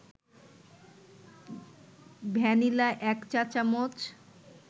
vanilla ১ চা-চামচ